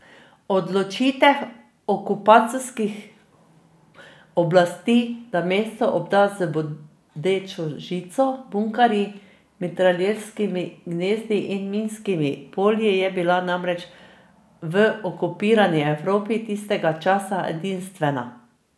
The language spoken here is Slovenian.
Odločitev okupacijskih oblasti, da mesto obda z bodečo žico, bunkerji, mitralješkimi gnezdi in minskimi polji, je bila namreč v okupirani Evropi tistega časa edinstvena.